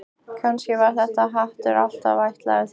Kannski var þessi hattur alltaf ætlaður þér.